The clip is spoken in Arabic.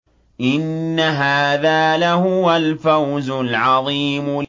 إِنَّ هَٰذَا لَهُوَ الْفَوْزُ الْعَظِيمُ